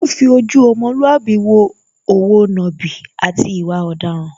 Wọ́n fi ojú ọmọlúàbí wo òwo nàbì, àti ìwà ọ̀daràn.